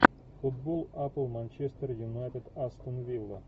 футбол апл манчестер юнайтед астон вилла